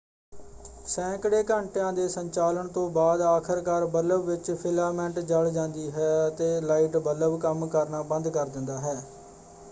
ਸੈਂਕੜੇ ਘੰਟਿਆਂ ਦੇ ਸੰਚਾਲਨ ਤੋਂ ਬਾਅਦ ਆਖਰਕਾਰ ਬੱਲਬ ਵਿੱਚ ਫਿਲਾਮੈਂਟ ਜਲ ਜਾਂਦੀ ਹੈ ਅਤੇ ਲਾਈਟ ਬੱਲਬ ਕੰਮ ਕਰਨਾ ਬੰਦ ਕਰ ਦਿੰਦਾ ਹੈ।